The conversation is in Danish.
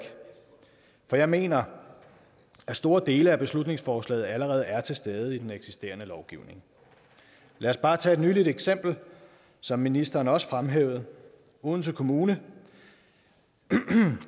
for jeg mener at store dele af beslutningsforslaget allerede er til stede i den eksisterende lovgivning lad os bare tage et nyligt eksempel som ministeren også fremhævede odense kommune